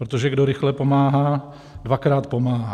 Protože kdo rychle pomáhá, dvakrát pomáhá.